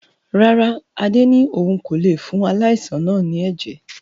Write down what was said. Rárá, Adé ni òun kò lé fún aláìsàn náà ni ẹ̀jẹ̀